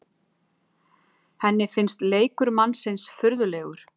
Henni finnst leikur mannsins furðulegur.